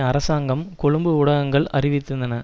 அரசாங்கம் கொழும்பு ஊடகங்கள் அறிவித்திருந்தன